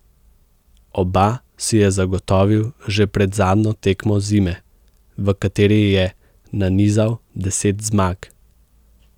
Oba si je zagotovil že pred zadnjo tekmo zime, v kateri je nanizal deset zmag.